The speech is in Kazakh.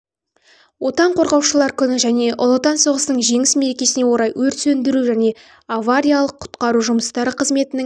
отан қорғаушылар күні және ұлы отан соғысының жеңіс мерекесіне орай өрт сөндіру және авариялық-құтқару жұмыстары қызметінің